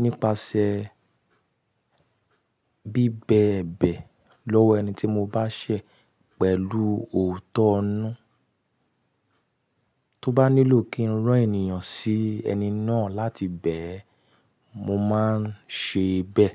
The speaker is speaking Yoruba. nípasẹ̀ bíbẹ̀bẹ̀ lọ́wọ́ ẹni tí mo bá ṣẹ̀ pẹ̀lú òótọ́ inu. Tó bá nílò kí n rán ènìyàn sí ẹni náà láti bẹ́ẹ̀, mo máa ń ṣe bẹ́ẹ̀